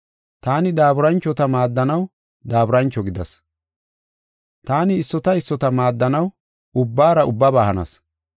Taani daaburanchota maaddanaw daaburancho gidas. Taani issota issota maaddanaw ubbaara ubbaba hanas.